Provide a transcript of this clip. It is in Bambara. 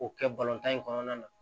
O kɛ tan in kɔnɔna na